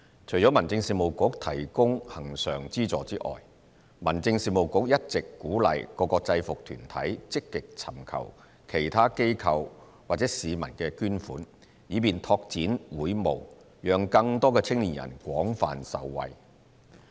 除了民政事務局提供恆常資助外，民政事務局一直鼓勵各個制服團體積極尋求其他機構或市民的捐款，以便拓展會務，讓更多青年人廣泛受惠。